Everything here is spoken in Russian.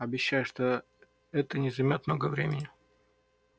обещаю что это не займёт много времени